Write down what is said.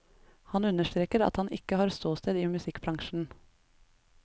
Han understreker at han ikke har ståsted i musikkbransjen.